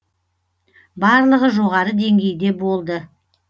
барлығы жоғары деңгейде болды